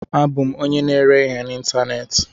Abụ m onye na-ere ihe n'ịntanetị.